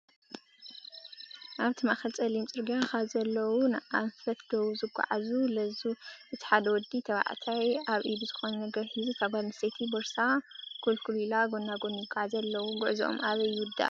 ኣብቲ ማእከል ፀሊም ፅርግያ ካብዘለዉዉዎ ንኣን ፈት ደቡብ ዝጓዓዙ ለዙ እቲ ሓደ ወዲ ተባዕታይ ኣብ ኢዱ ዝኾነ ነገር ሒዙ እታ ጓል ኣነስተይቲ ቦርሳ ኩልኩል ኢላ ጎናጎኒ ይጓዓዙ ኣለዉ፡፡ ጉዕዞኦም ኣበይ ይውዳእ?